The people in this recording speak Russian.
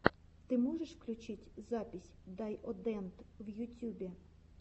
ты можешь включить запись дайодэнд в ютюбе